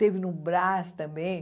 Teve no Brás também.